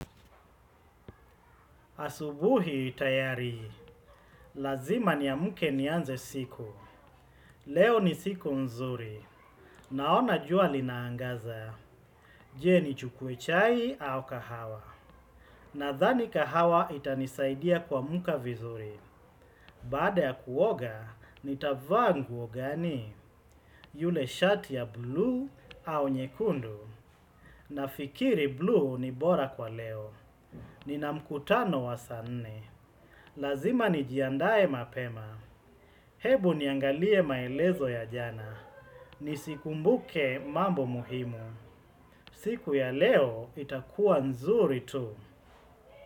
Asubuhi tayari, lazima niamke nianze siku. Leo ni siku nzuri, naona jua linaangaza. Je nichukue chai au kahawa. Nadhani kahawa itanisaidia kuamka vizuri. Baada ya kuoga, nitavaa nguo gani? Yule shati ya bluu au nyekundu. Nafikiri bluu ni bora kwa leo. Nina mkutano wa saa nne. Lazima nijiandae mapema. Hebu niangalie maelezo ya jana. Nisikumbuke mambo muhimu. Siku ya leo itakuwa nzuri tu.